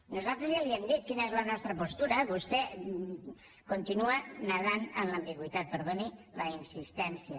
nosaltres ja li hem dit quina és la nostra postura vostè continua nedant en l’ambigüitat perdoni la insistència